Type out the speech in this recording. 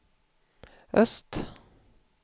öst